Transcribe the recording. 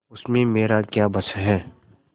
उसमें मेरा क्या बस है